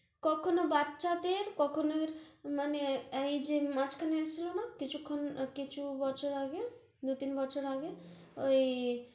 কখনো বাচ্চাদের, কখনো~ মানে, এই যে মাঝখানে আছিল না? কিছুক্ষণ, কিছু বছর আগে, দু-তিন বছর আগে, ওই